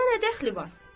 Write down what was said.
Ona nə dəxli var?